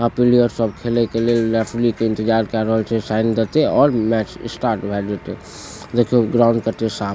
आब पीलियर सब खेले के लेल रेफ्ली के इंतजार केए रहल छै साइन देते और मैच स्टार्ट भए जाते देखियो ग्राउंड कते साफ --